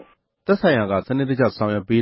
ဲ့ သက်ဆိုင်ရာက တာဝန်ယူ ကူညီဆောင်ရွက် မပေး